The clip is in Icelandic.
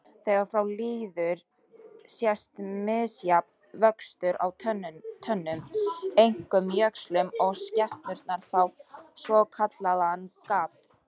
Þegar frá líður sést misjafn vöxtur á tönnum, einkum jöxlum, og skepnurnar fá svokallaðan gadd.